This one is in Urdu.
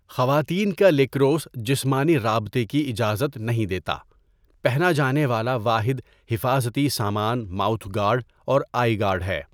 خواتین کا لیکروس جسمانی رابطے کی اجازت نہیں دیتا، پہنا جانے والا واحد حفاظتی سامان ماؤتھ گارڈ اور آئی گارڈ ہے۔